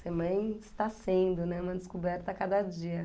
Ser mãe está sendo, né, uma descoberta a cada dia.